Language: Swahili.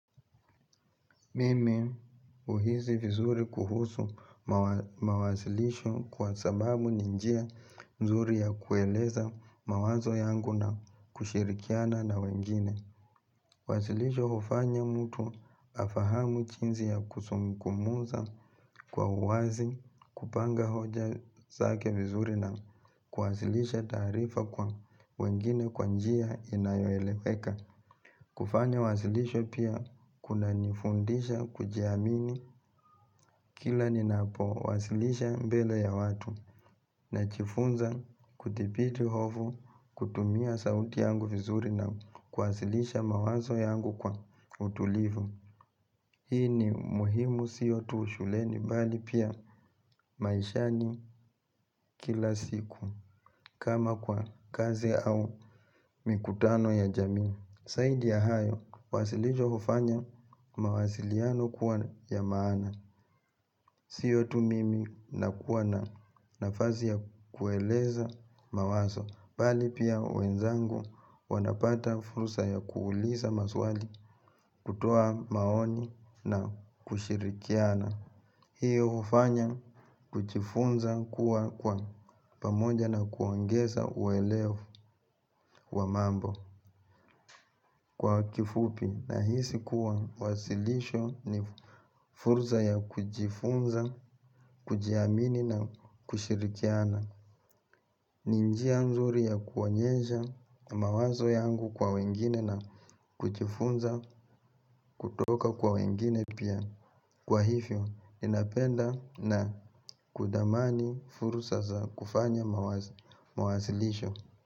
Mimi huhizi vizuri kuhusu mawasilisho kwa sababu ninjia mzuri ya kueleza mawazo yangu na kushirikiana na wengine. Wazilisho hufanya mtu afahamu jinsi ya kusungumuza kwa uwazi kupanga hoja zake vizuri na kuwasilisha tarifa kwa wengine kwanjia inayoeleweka. Kufanya wasilisho pia kuna nifundisha kujiamini kila ninapo wasilisha mbele ya watu na jiifunza kudipiti hofu kutumia sauti yangu vizuri na kuwasilisha mawazo yangu kwa utulivu. Hii ni muhimu siyo tuushuleni bali pia maishani kila siku kama kwa kazi au mikutano ya jaminu. Zaidi ya hayo wasilisho hufanya mawasiliano kuwa maana. Siyo tu mimi na kuwa na nafazi ya kueleza mawaso, bali pia wenzangu wanapata furusa ya kuuliza maswali kutoa maoni na kushirikiana. Hiyo ufanya kujifunza kuwa kwa pamoja na kuangeza uweleo wa mambo kwa kifupi na hisi kuwa wasilisho ni furza ya kujifunza, kujiamini na kushirikiana. Ninjia nzuri ya kuonyesha mawazo yangu kwa wengine na kujifunza kutoka kwa wengine pia. Kwa hivyo, ninapenda na kudamani furusa za kufanya mawazilisho.